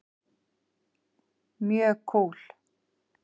Mjög kúl.